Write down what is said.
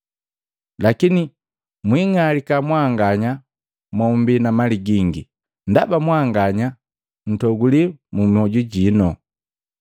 Lakini mwing'alika mmbanganya mombi na mali gingi, ndaba mwanganya nntoguli mmwoju jino!